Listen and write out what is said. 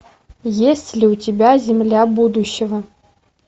есть ли у тебя земля будущего